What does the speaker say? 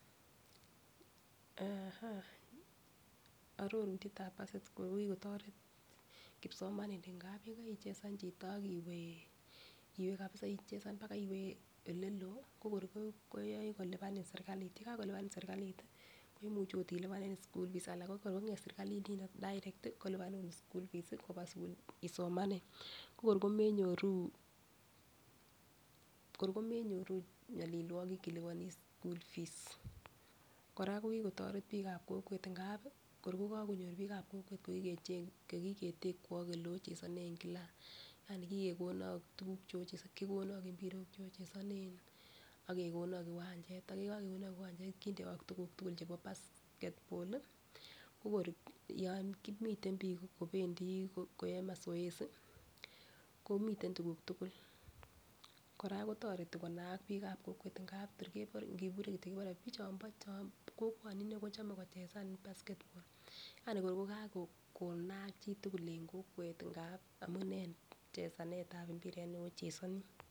Eh ororutyetab basketball ko kikotoret kipsomaninik amun yekaicheza chito ak iwee kabisa ichezan baka owe oleloo ko kor koyoin kolipani sirkalit yekakolipani sirkalit tii ko kor komimivh okot ilipanen school fees alan ko kor konget sirkalit nino direct tii kolipanu school fees koba sukul isomanen ko kor komenyoru kor komenyoru nyolileiki iliponi school fees .Koraa ko kikotoret bik ab kokwet ngap ko kokokinyor bikab kokwet ngapi kor kokakonyor bikab kokwet kokikech kokiketekwo ileochesonen kila yani kikekonok tukuk chemoche kokonok impirok che ochesone ak kekonok kiwanchet ak yekokekonok kiwanchet kindewok tukuk tukul chebo basketball lii kokor yon miten bik kopendii koyoe [ca]masoezi komiten tukuk tukul . Koraa kotoreti konaak bikab kokwet ngap tor kebore nkibure kityok kebore bichon kokwo6 ine kochome kocheza basketball yani kor ko kakonaka chitukul en kokwet ngap amunee chezanetab mbiret neochezoni.